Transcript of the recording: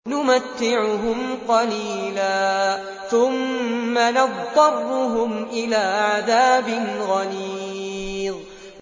نُمَتِّعُهُمْ قَلِيلًا ثُمَّ نَضْطَرُّهُمْ إِلَىٰ عَذَابٍ غَلِيظٍ